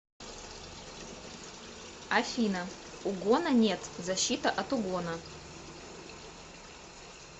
афина угона нет защита от угона